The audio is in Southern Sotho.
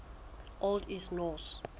old east norse